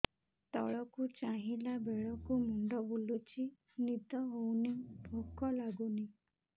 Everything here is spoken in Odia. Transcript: ତଳକୁ ଚାହିଁଲା ବେଳକୁ ମୁଣ୍ଡ ବୁଲୁଚି ନିଦ ହଉନି ଭୁକ ଲାଗୁନି